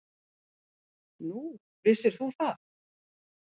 Nú, vissir þú það?